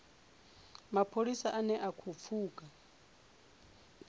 mapholisa ane a khou pfuka